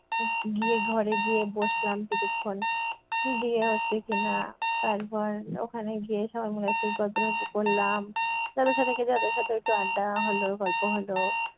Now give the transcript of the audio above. উহ গিয়ে ঘরে গিয়ে বসলাম কিছুক্ষণ, গিয়ে হচ্ছে কি-না তারপর ওখানে গিয়ে সবাই মিলে একটু গল্প টল্প করলাম যাদের সাথে তাদের সাথে একটু আড্ডা হ'ল গল্প হ'ল।